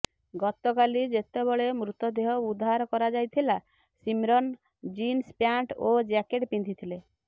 ଗତକାଲି ଯେତେବେଳେ ମୃତଦେହ ଉଦ୍ଧାର କରାଯାଇଥିଲା ସିମ୍ରନ୍ ଜିନ୍ସ ପ୍ୟାଣ୍ଟ ଓ ଜ୍ୟାକେଟ୍ ପିନ୍ଧିଥିଲେ